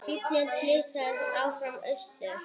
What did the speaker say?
Og bíllinn silast áfram austur.